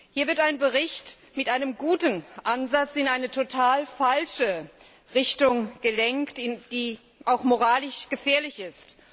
Hier wird ein Bericht mit einem guten Ansatz in eine total falsche Richtung gelenkt, die auch moralisch gefährlich ist.